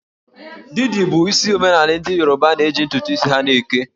Didi bụ isi omemaala ndị Yoruba na-eji ntụtụ isi ha eke